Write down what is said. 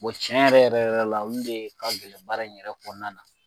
tiɲɛ yɛrɛ yɛrɛ yɛrɛ la olu de ka gɛlɛn baara in yɛrɛ kɔnɔna na